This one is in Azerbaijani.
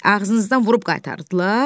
Ağzınızdan vurub qaytardılar?